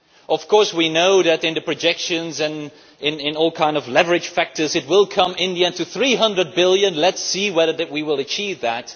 Of course, we know that in the projections and with all kinds of leverage factors it will come in the end to EUR 300 billion. Let us see whether we achieve that.